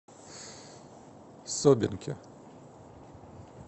собинке